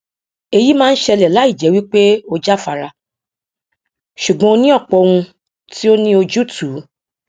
èyí máa ń ṣẹlẹ láì jẹ wí pé o jáfara ṣùgbọn o ní ọpọ ohun tí ó ní ojútùú